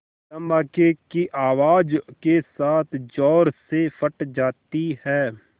धमाके की आवाज़ के साथ ज़ोर से फट जाती है